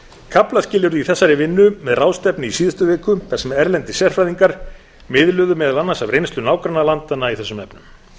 kaflaskil urðu í þessari vinnu með ráðstefnu í síðustu viku þar sem erlendir sérfræðingar miðluðu meðal annars af reynslu nágrannalandanna í þessum efnum